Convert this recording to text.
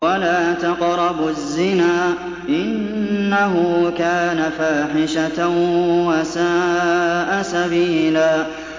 وَلَا تَقْرَبُوا الزِّنَا ۖ إِنَّهُ كَانَ فَاحِشَةً وَسَاءَ سَبِيلًا